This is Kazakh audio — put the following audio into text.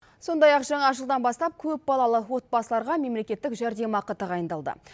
сондай ақ жаңа жылдан бастап көп балалы отбасыларға мемлекеттік жәрдемақы тағайындалды